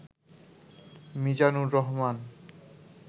Mizanur Rahman